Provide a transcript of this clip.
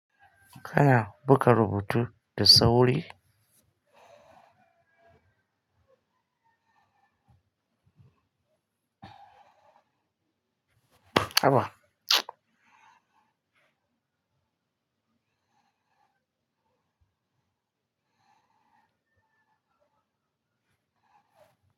Kana buga rubutu da sauri? Aba.